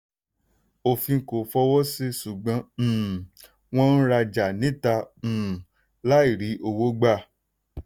òfin kò fọwọ́ sí ṣùgbọ́n um wọ́n ń ràjà níta um láì rí owó gbà.